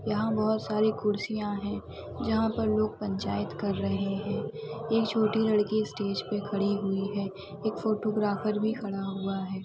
यहाँ बहुत सारी कुर्सियां है जहाँ पर लोग पंचायत कर रहे है एक छोटी लड़की स्टेज पे खड़ी हुई है और एक फोटोग्राफर भी खड़ा हुआ हैं ।